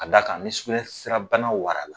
A d'a kan ni sugunɛ sira bana warala